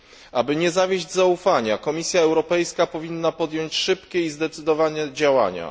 Aby nie zawieść zaufania, Komisja Europejska powinna podjąć szybkie i zdecydowane działania.